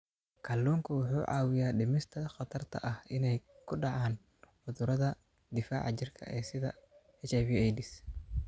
Kalluunku wuxuu caawiyaa dhimista khatarta ah inay ku dhacaan cudurrada difaaca jirka sida HIV/AIDS.